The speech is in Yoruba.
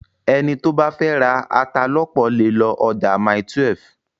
Ẹni tó bá fẹ́ ra ata lọ́pọ̀ lè lọ ọjà Mile12.